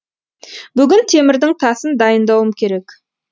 бүгін темірдің тасын дайындауым керек